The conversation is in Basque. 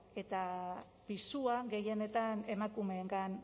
eta pisua gehienetan emakumeengan